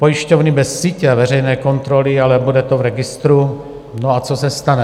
Pojišťovny bez sítě a veřejné kontroly, ale bude to v registru - no a co se stane.